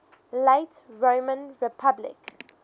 late roman republic